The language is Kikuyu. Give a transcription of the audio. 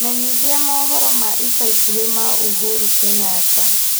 menyithia mohoro ma ica ikuhĩ ma uhuru kenyatta